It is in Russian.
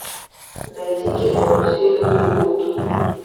найти кино все люди лгут